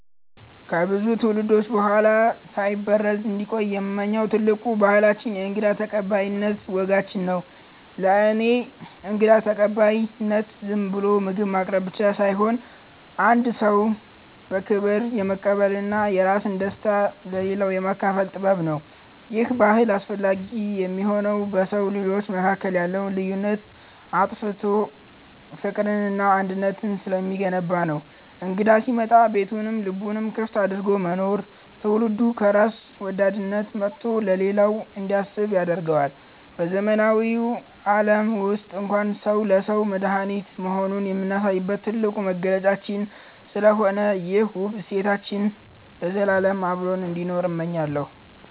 ከብዙ ትውልዶች በኋላ ሳይበረዝ እንዲቆይ የምመኘው ትልቁ ባህላችን የእንግዳ ተቀባይነት ወጋችንን ነው። ለእኔ እንግዳ ተቀባይነት ዝም ብሎ ምግብ ማቅረብ ብቻ ሳይሆን፣ አንድን ሰው በክብር የመቀበልና የራስን ደስታ ለሌላው የማካፈል ጥበብ ነው። ይሄ ባህል አስፈላጊ የሚሆነው በሰው ልጆች መካከል ያለውን ልዩነት አጥፍቶ ፍቅርንና አንድነትን ስለሚገነባ ነው። እንግዳ ሲመጣ ቤቱንም ልቡንም ክፍት አድርጎ መኖር፣ ትውልዱ ከራስ ወዳድነት ወጥቶ ለሌላው እንዲያስብ ያደርገዋል። በዘመናዊው ዓለም ውስጥ እንኳን ሰው ለሰው መድኃኒት መሆኑን የምናሳይበት ትልቁ መገለጫችን ስለሆነ፣ ይሄ ውብ እሴታችን ለዘላለም አብሮን እንዲኖር እመኛለሁ።